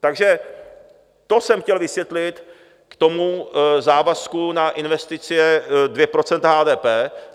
Takže to jsem chtěl vysvětlit k tomu závazku na investice 2 % HDP.